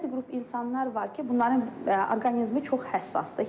Bəzi qrup insanlar var ki, bunların orqanizmi çox həssasdır.